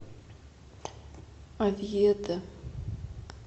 овьедо